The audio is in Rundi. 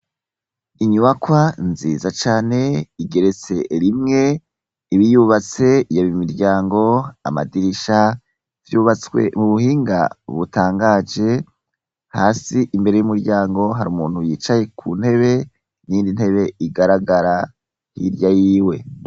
Inyubakwa nziza cane igeretse rimwe ibiyubatse yabo imiryango amadirisha vyubatswe mu buhinga ubutangaje hasi imbere y'umuryango hari umuntu yicaye ku ntebe nyendi ntebe igaragara hirya yiwe.